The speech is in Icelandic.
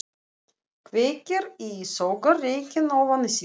Kveikir í og sogar reykinn ofan í sig.